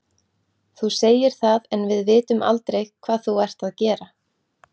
Þú segir það en við vitum aldrei hvað þú ert að gera.